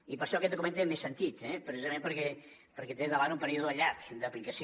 i per això aquest document té més sentit eh precisament perquè té davant un període llarg d’aplicació